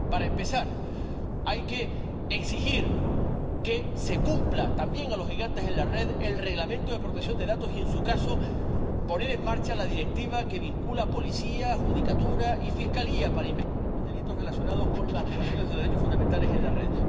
Para empezar, hay que exigir que se cumpla —también a los gigantes de la red— el Reglamento de protección de datos y, en su caso, poner en marcha la directiva que vincula a la policía, la judicatura y la fiscalía para investigar los delitos relacionados con las violaciones de derechos fundamentales en la red.